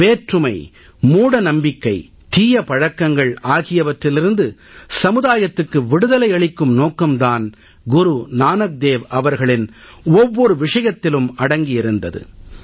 வேற்றுமை மூடநம்பிக்கை தீய பழக்கங்கள் ஆகியவற்றிலிருந்து சமுதாயத்துக்கு விடுதலை அளிக்கும் நோக்கம் தான் குரு நானக் தேவ் அவர்களின் ஒவ்வொரு விஷயத்திலும் அடங்கி இருந்தது